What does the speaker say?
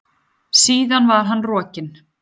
Síðan var hann rokinn.